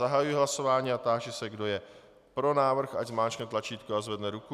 Zahajuji hlasování a táži se, kdo je pro návrh, ať zmáčkne tlačítko a zvedne ruku.